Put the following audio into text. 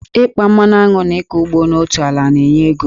Ịkpa anụmanụ na ịkọ ugbo n'otu ala na-enye ego